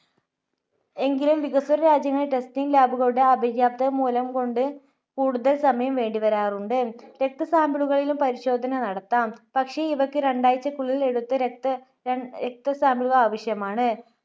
എങ്കിലും വികസ്വര രാജ്യങ്ങളിൽ testing lab കളുടെ അപര്യാപ്‌ത മൂലം കൊണ്ട് കൂടുതൽ സമയം വേണ്ടിവരാറുണ്ട്. രക്ത sample കളിലും പരിശോധന നടത്താം. പക്ഷേ ഇവക്ക് രണ്ടാഴ്ച്ചക്കുള്ളിൽ എടുത്ത രക്ത, രണ്ട് രക്ത sample കൾ ആവശ്യമാണ്.